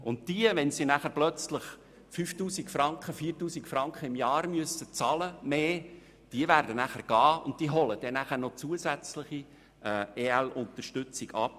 Wenn diese Leute auf einmal 4000 oder 5000 Franken im Jahr zusätzlich bezahlen müssen, holen sie dann doch zusätzliche EL-Unterstützung ab.